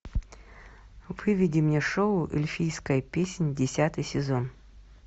выведи мне шоу эльфийская песнь десятый сезон